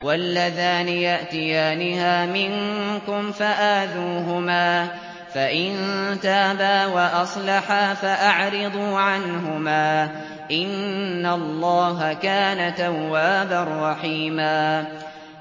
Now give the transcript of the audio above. وَاللَّذَانِ يَأْتِيَانِهَا مِنكُمْ فَآذُوهُمَا ۖ فَإِن تَابَا وَأَصْلَحَا فَأَعْرِضُوا عَنْهُمَا ۗ إِنَّ اللَّهَ كَانَ تَوَّابًا رَّحِيمًا